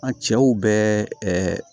An cɛw bɛ ɛɛ